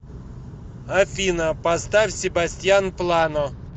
афина поставь себастьян плано